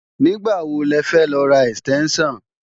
Nígbàwo lẹfẹ́ lọ ra ẹ̀stẹ́ńṣàn?